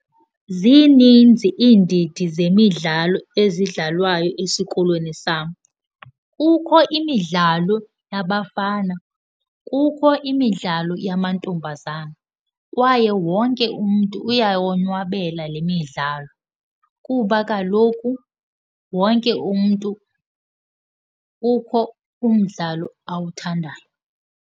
Zininzi iindidi zemidlalo ezidlalwayo esikolweni sam. Kukho imidlalo yabafana, kukho imidlalo yamantombazana kwaye wonke umntu uyawonwabela le midlalo kuba kaloku wonke umntu kukho umdlalo awuthandayo.